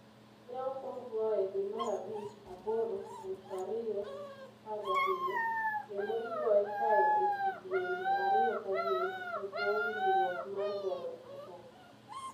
Ne okwong goye dwe mar bich 8, 2017, kendo igoye kae e kidienje ariyo ka gin e bwo winjruok mar goyo oboke.